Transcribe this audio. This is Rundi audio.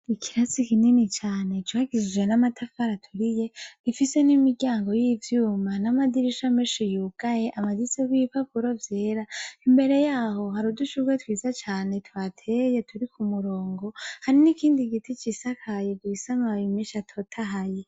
Ikirasi kinini cane cubakishije n'amatafari aturiye gifise n'imiryango y'ivyuma n'amadirisha menshi yugaye amaditseho ibipapuro vyera, imbere yaho hari udushurwe twiza cane tuhateye turi ku murongo, hari n'ikindi giti cisakaye gifise amababi menshi atotahaye.